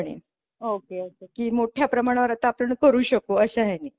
Okay okay मोठ्या प्रमाणावर आता आपण करू शकू अशाह्याने.